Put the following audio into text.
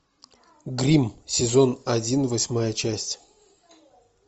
гримм сезон один восьмая часть